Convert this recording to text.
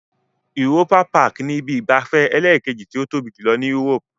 Europa-Park ni ibi ìgbafẹ́ ẹlẹ́ẹ̀kejì tó tóbi jùlọ Europe.